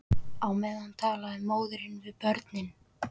Á meðan talar móðir við börn.